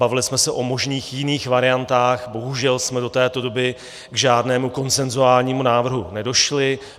Bavili jsme se o možných jiných variantách, bohužel jsme do této doby k žádnému konsenzuálnímu návrhu nedošli.